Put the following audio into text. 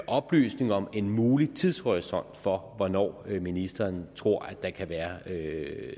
oplysning om en mulig tidshorisont for hvornår ministeren tror at der kan være